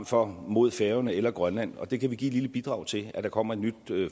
for mod færøerne eller grønland og der kan vi give et lille bidrag til at der kommer et nyt